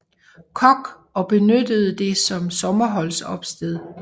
Koch og benyttede det som sommeropholdssted